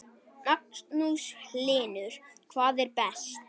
Magnús Hlynur: Hvað er best?